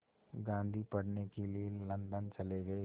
गांधी पढ़ने के लिए लंदन चले गए